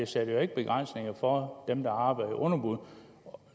sætter jo ikke begrænsninger for dem der arbejder i underbud